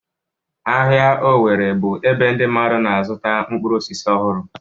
Ahịa owerri bụ ebe ndị mmadụ na-azụta mkpụrụ osisi ọhụrụ.